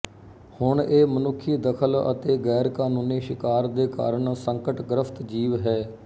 ਹੁਣ ਇਹ ਮਨੁੱਖੀ ਦਖਲ ਅਤੇ ਗ਼ੈਰਕਾਨੂੰਨੀ ਸ਼ਿਕਾਰ ਦੇ ਕਾਰਨ ਸੰਕਟਗ੍ਰਸਤ ਜੀਵ ਹੈ